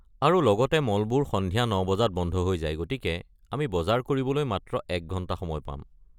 আৰু লগতে মলবোৰ সন্ধিয়া ৯ বজাত বন্ধ হৈ যায় গতিকে আমি বজাৰ কৰিবলৈ মাত্ৰ এক ঘণ্টা সময় পাম।